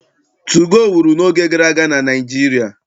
Tugoo wuru n'oge gara aga na Naịjirịa.